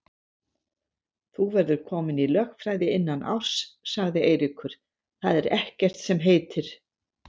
Þú verður kominn í lögfræði innan árs, sagði Eiríkur, það er ekkert sem heitir.